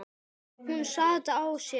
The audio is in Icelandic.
Hún sat á sér.